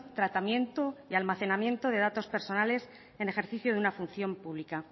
tratamiento y almacenamiento de datos personales en ejercicio de una función pública